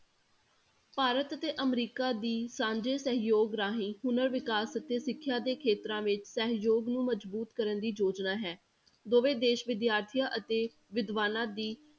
ਭਾਰਤ ਅਤੇ ਅਮਰੀਕਾ ਦੀ ਸਾਂਝੇ ਸਹਿਯੋਗ ਰਾਹੀਂ ਪੁਨਰ ਵਿਕਾਸ ਅਤੇ ਸਿੱਖਿਆ ਦੇ ਖੇਤਰਾਂ ਵਿੱਚ ਸਹਿਯੋਗ ਨੂੰ ਮਜ਼ਬੂਤ ਕਰਨ ਦੀ ਯੋਜਨਾ ਹੈ, ਦੋਵੇਂ ਦੇਸ ਵਿਦਿਆਰਥੀਆਂ ਅਤੇ ਵਿਦਵਾਨਾਂ ਦੀ